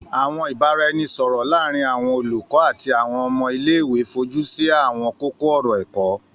Àwọn ìbáraẹnisọ̀rọ̀ láàrin àwọn olùkọ́ àti àwọn ọmọ ilé-ìwé fojúsí àwọn kókó-ọ̀rọ̀ ẹ̀kọ́.